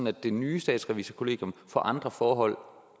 at det nye statsrevisorkollegium får andre forhold